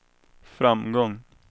framgång